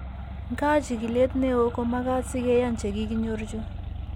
Nkaa, chigiilet ne oo ko makaat si ke yaan che kikinyor chu.